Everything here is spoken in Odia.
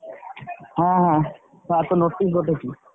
ହଁ ହଁ sir ତ notice ପଠେଇଥିଲେ।